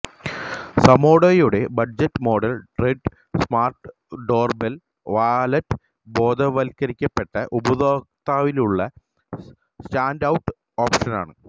സമോഡോയുടെ budget model great smart doorbell wallet ബോധവൽക്കരിക്കപ്പെട്ട ഉപഭോക്താവിനുള്ള standout ഓപ്ഷനാണ്